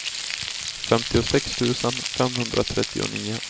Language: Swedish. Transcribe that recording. femtiosex tusen femhundratrettionio